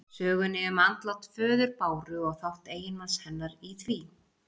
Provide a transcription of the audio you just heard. Sögunni um andlát föður Báru og þátt eiginmanns hennar í því.